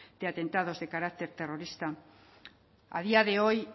de atentados de carácter terrorista a día de hoy